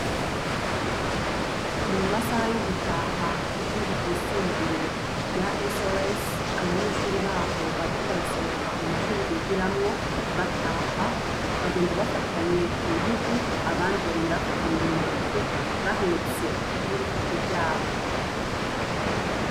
Ni mu masaha yo gutaha ku ishuri ryisumbuye rya SOS abanyeshuri baho bariko barasohohoka muma shure bigiramwo bataha bagenda bafatanye ku ntugu abandi bagenda bafanye mu ntoki bahetse n'ibikapu vyabo.